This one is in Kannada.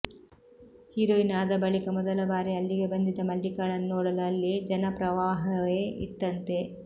ಹೀರೋಯಿನ್ ಆದ ಬಳಿಕ ಮೊದಲಬಾರಿ ಅಲ್ಲಿಗೆ ಬಂದಿದ್ದ ಮಲ್ಲಿಕಾಳನ್ನು ನೋಡಲು ಅಲ್ಲಿ ಜನಪ್ರವಾಹವೇ ಇತ್ತಂತೆ